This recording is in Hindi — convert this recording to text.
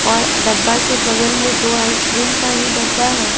और डब्बा के बगल में दो आइसक्रीम का ही डब्बा है।